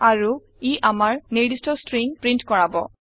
আৰু ই আমাৰ নিৰ্দিস্ট ষ্ট্ৰিং প্ৰীন্ট কৰাব